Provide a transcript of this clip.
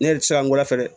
Ne yɛrɛ ti se ka n gɔlɔ fɛ